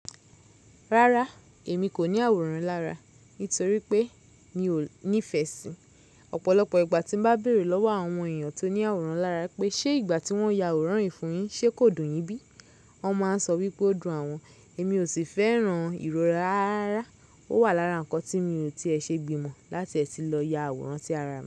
Rárá, èmi kò ní àwòrán lára nítorí pé mi ò nífẹ̀ẹ́ síi. Ọ̀pọ̀lọpọ̀ ìgbà tí mo bá béèrè lọ́wọ́ àwọn èèyàn tó ní àwòrán lára pé ṣé ìgbà tí wọ́n ya àwòrán yìí fún yín ṣe kò dùn yín bí? Wọ́n máa ń sọ wípé ó dùn awọn. Èmi ò sì fẹ́ran ìrora rára ra. Ó wà lára nǹkan tí mi ò ti è ṣe gbìmọ̀ láti ẹ̀ tì lọ ya àwòrán sí ara mi.